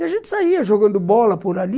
E a gente saía jogando bola por ali,